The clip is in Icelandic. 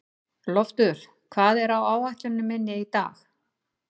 Loftur, hvað er á áætluninni minni í dag?